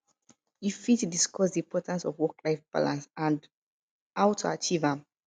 you fit discuss di importance of worklife balance and how to achieve am